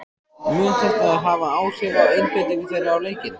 Mun þetta hafa áhrif á einbeitingu þeirra á leikinn?